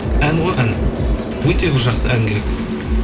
ән ғой ән өте бір жақсы ән керек